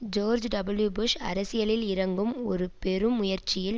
George W. Bush அரசியலில் இறங்கும் ஒரு பெரும் முயற்சியில்